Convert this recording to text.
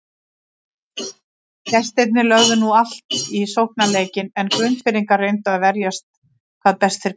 Gestirnir lögðu nú allt í sóknarleikinn en Grundfirðingar reyndu að verjast hvað best þeir gátu.